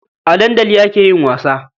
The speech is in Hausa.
A dandali ake yin wasa.